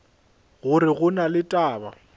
gore go na le taba